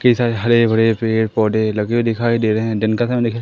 कई सारे हरे भरे पेड़ पौधे लगे हुए दिखाई दे रे हैं दिन का समय दिख--